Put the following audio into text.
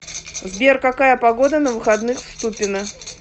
сбер какая погода на выходных в ступино